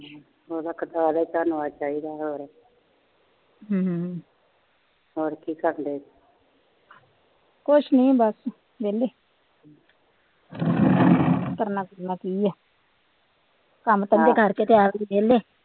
ਕੁਛ ਨੀ ਬਸ ਵਿਹਲੇ ਕਰਨਾ ਕੁਰਨਾ ਕੀ ਏ ਕੰਮ ਧੰਦੇ ਕਰਕੇ ਵਿਹਲੇ